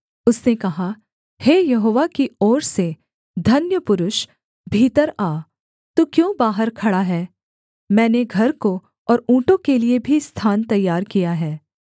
उसने कहा हे यहोवा की ओर से धन्य पुरुष भीतर आ तू क्यों बाहर खड़ा है मैंने घर को और ऊँटों के लिये भी स्थान तैयार किया है